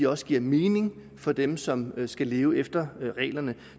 også giver mening for dem som skal leve efter reglerne